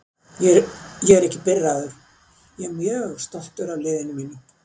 Ég er ekki pirraður, ég er mjög stoltur af liðinu mínu.